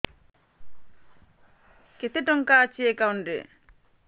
କେତେ ଟଙ୍କା ଅଛି ଏକାଉଣ୍ଟ୍ ରେ